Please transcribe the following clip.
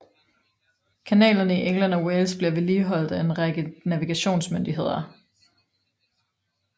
Kanalerne i England og Wales bliver vedligeholdt af en række navigationsmyndigheder